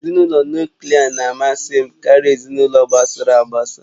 Ezinụlọ Nuklià na-amasị m karịa ezinụlọ gbasara agbasa